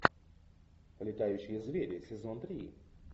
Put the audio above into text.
летающие звери сезон три